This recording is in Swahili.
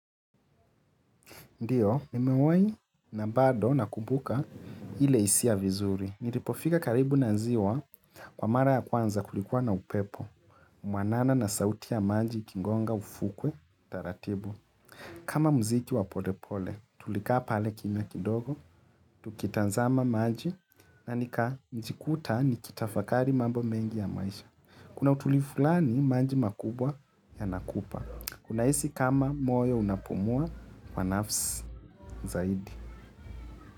Ndiyo, nimewahi na bado nakumbuka ile hisia vizuri. Nilipofika karibu na ziwa kwa mara ya kwanza kulikuwa na upepo. Mwanana na sauti ya maji ikigonga ufukwe, taratibu. Kama mziki wa polepole, tulikaa pale kimya kidogo, tukitazama maji na nikajikuta nikitafakari mambo mengi ya maisha. Kuna utulivu fulani maji makubwa yanakupa. Unahisi kama moyo unapumua kwa nafsi zaidi.